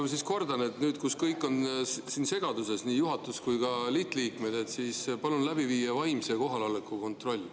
Ma siis kordan, et nüüd, kus kõik on segaduses, nii juhatus kui ka lihtliikmed, palun läbi viia vaimse kohaloleku kontroll.